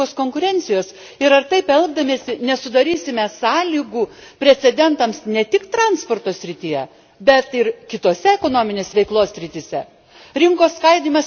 Ar jie neiškraipo sąžiningos konkurencijos ir ar taip elgdamiesi nesudarysime sąlygų precedentams ne tik transporto srityje, bet ir kitose ekonominės veiklos srityse.